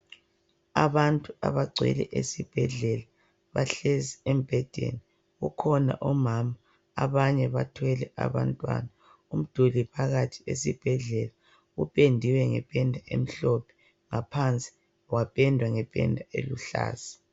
Abantu abagcwele esibhedlela bahlezi embhedeni. Kukhona omama abanye bathwele abantwana. Umduli phakathi esibhedlela upendiwe ngependa emhlophe ngaphansi wapendwa ngependa eluhlaza.